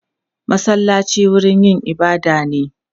Masallaci wurin yin ibada ne.